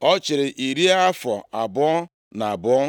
Ọ chịrị iri afọ abụọ na abụọ.